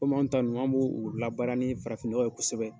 Komi an ta ninnu an bo o labaara ni farafin nɔgɔ ye kosɛbɛ.